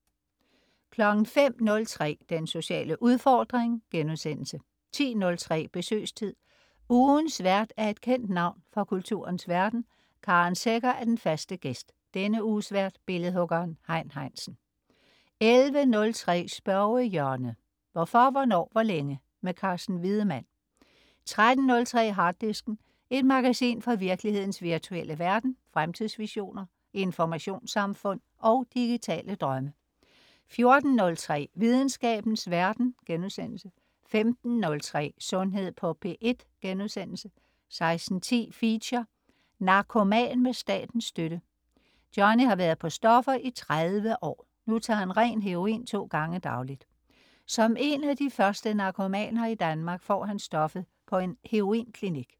05.03 Den sociale udfordring* 10.03 Besøgstid. Ugens vært er et kendt navn fra kulturens verden. Karen Secher er den faste "gæst". Denne uges vært: billedhuggeren Hein Heinsen 11.03 Spørgehjørnet. Hvorfor, hvornår, hvor længe? Carsten Wiedemann 13.03 Harddisken. Et magasin fra virkelighedens virtuelle verden. Fremtidsvisioner, informationssamfund og digitale drømme 14.03 Videnskabens verden* 15.03 Sundhed på P1* 16.10 Feature: Narkoman med statens støtte. Johnny har været på stoffer i 30 år. Nu tager han ren heroin to gange dagligt. Som en af de første narkomaner i Danmark får han stoffet på en heroinklinik